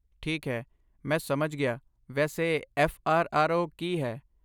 ਠੀਕ ਹੈ ਮੈਂ ਸਮਝ ਗਿਆ ਵੈਸੇ ਐੱਫ਼ ਆਰ ਆਰ ਓ ਕੀ ਹੈ?